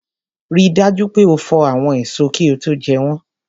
Rí dájú pé o fò àwọn èso kí ó tó jẹ́ wọ́n